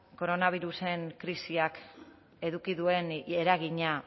koronabirusaren krisiak eduki duen eragina